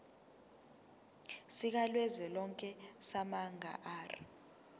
sikazwelonke samabanga r